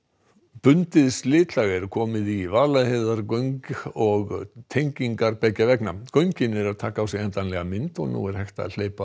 bundið slitlag er komið í Vaðlaheiðargöng og tengingar beggja vegna göngin eru að taka á sig endanlega mynd og nú er hægt að hleypa